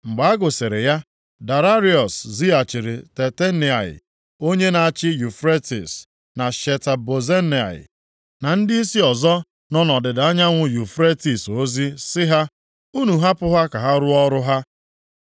Mgbe a gụsịrị ya, Daraiọs zighachiri Tatenai onye na-achị Yufretis, + 6:6 Maọbụ, Ala ofe mmiri na Sheta Bozenai, na ndịisi ọzọ nọ nʼọdịda anyanwụ Yufretis ozi sị ha, Unu hapụ ha ka ha rụọ ọrụ ha.